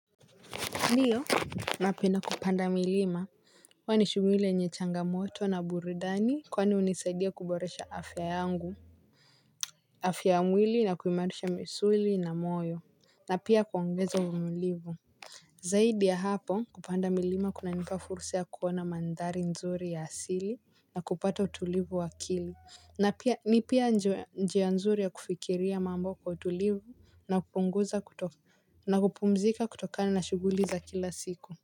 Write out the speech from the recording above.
Ndiyo na penda kupanda milima huwa ni shughuli yenye changamoto na burudani. Kwani hunisaidia kuboresha afya yangu. Afya mwili na kuimarusha misuli na moyo na pia kuongeza uvumilifu. Zaidi ya hapo kupanda milima kuna nipa fursa kuona mandhari nzuri ya asili na kupata utulivu akili. Na pia ni pia njia nzuri ya kufikiria mambo kwa utulivu na kupunguza kuto na kupumzika kutokani na shuguliza kila siku.